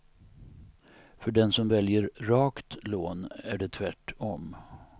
För den som väljer rakt lån är det tvärt om.